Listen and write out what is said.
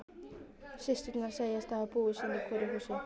Systurnar segjast hafa búið sín í hvoru húsi.